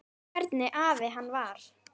Hvernig afi hann var.